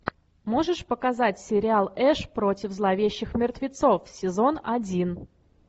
можешь показать сериал эш против зловещих мертвецов сезон один